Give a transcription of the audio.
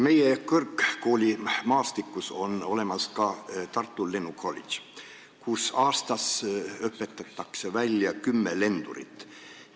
Meie kõrgkoolimaastikul on olemas ka Tartu lennukolledž, kus õpetatakse välja kümme lendurit aastas.